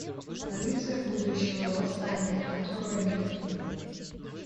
полиция будущего восстание открой мне